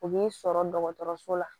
U b'i sɔrɔ dɔgɔtɔrɔso la